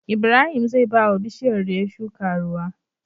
Ibrahim zai bawa bishiyar da ya shuka ruwa